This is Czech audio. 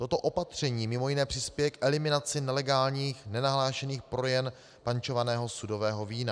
Toto opatření mimo jiné přispěje k eliminaci nelegálních nenahlášených prodejen pančovaného sudového vína.